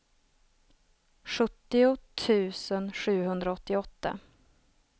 sjuttio tusen sjuhundraåttioåtta